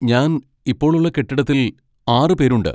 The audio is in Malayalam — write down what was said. ഞാൻ ഇപ്പോൾ ഉള്ള കെട്ടിടത്തിൽ ആറ് പേരുണ്ട്.